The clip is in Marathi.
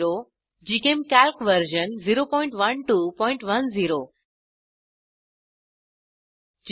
GChemCalc version 01210